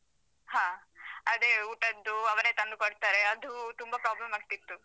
ಹ. ಅದೇ ಊಟದ್ದು ಅವರೇ ತಂದು ಕೊಡ್ತಾರೆ, ಅದು ತುಂಬಾ problem ಆಗ್ತಿತ್ತು.